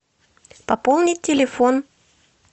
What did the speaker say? пополнить телефон